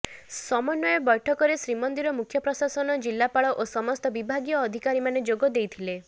ସମନ୍ୱୟ ବୈଠକରେ ଶ୍ରୀମନ୍ଦିର ମୁଖ୍ୟପ୍ରଶାସକ ଜିଲ୍ଲାପାଳ ଓ ସମସ୍ତ ବିଭାଗୀୟ ଅଧିକାରୀମାନେ ଯୋଗଦେଇଥିଲେ